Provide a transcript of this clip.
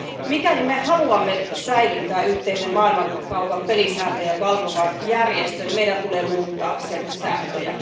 Mikäli me haluamme säilyttää yhteisen maailmankaupan pelisääntöjä valvovan järjestön, meidän tulee muuttaa sen sääntöjä.